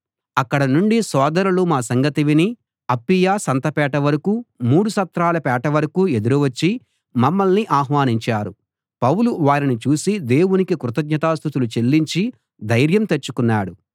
అక్కడ నుండి సోదరులు మా సంగతి విని అప్పీయా సంతపేట వరకూ మూడు సత్రాల పేట వరకూ ఎదురు వచ్చి మమ్మల్ని ఆహ్వానించారు పౌలు వారిని చూసి దేవునికి కృతజ్ఞతా స్తుతులు చెల్లించి ధైర్యం తెచ్చుకున్నాడు